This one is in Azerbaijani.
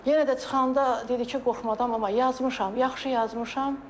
Yenə də çıxanda dedi ki, qorxma mama, yazmışam, yaxşı yazmışam.